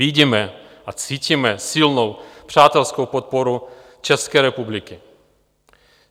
Vidíme a cítíme silnou přátelskou podporu České republiky.